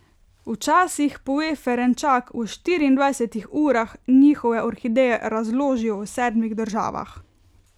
Včasih, pove Ferenčak, v štiriindvajsetih urah njihove orhideje razložijo v sedmih državah.